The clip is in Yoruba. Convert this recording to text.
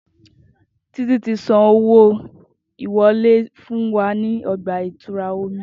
Titi ti san owo iwole fun wa ni ọgba-itura omi